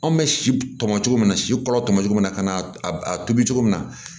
Anw bɛ si tɔmɔ cogo min na si kɔrɔ tɔmɔ cogo min na ka na a tobi cogo min na